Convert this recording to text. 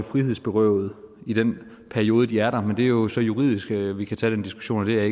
frihedsberøvet i den periode de er der men det er jo så juridisk vi vi kan tage den diskussion og det er